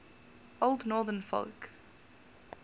old northern folk